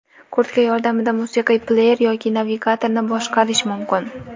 Kurtka yordamida musiqiy pleyer yoki navigatorni boshqarish mumkin.